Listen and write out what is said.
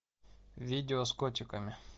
видео с котиками